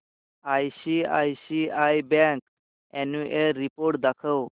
ICICI bank annual report दाखव